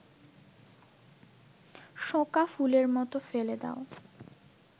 শোঁকা ফুলের মতো ফেলে দাও